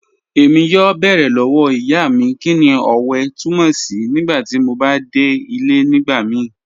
Ẹ̀mí yọ̀ọ́ bẹ̀ẹ̀rẹ̀ lọ́wọ́ ìyá mi kíni ọ̀wẹ̀ tùmọ̀ sí̀ nígbàtí mò bá dẹ̀ ilẹ̀ nígbàmìí